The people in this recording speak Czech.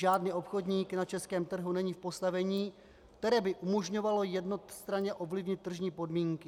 Žádný obchodník na českém trhu není v postavení, které by umožňovalo jednostranně ovlivnit tržní podmínky.